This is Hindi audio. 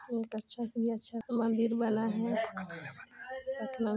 एक अच्छा से अच्छा मंदिर बना है। इतना मे--